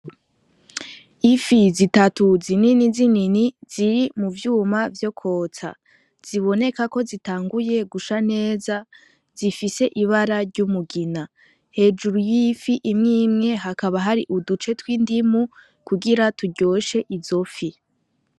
Ifi zitatu zinini zinini ziri mu vyuma vyo kwotsa, ziboneka ko zitanguye gusha neza, zifise ibara ry'umugina. Hejuru y'ifi imwe imwe hakaba hari uduce tw'indimu kugira turyoshe izo fi.